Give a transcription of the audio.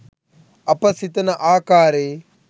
අප සිතන ආකාරයේ